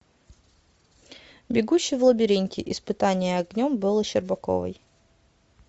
бегущий в лабиринте испытание огнем бэлы щербаковой